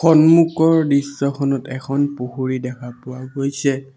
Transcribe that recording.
সন্মুখৰ দৃশ্যখনত এখন পুখুৰী দেখা পোৱা গৈছে।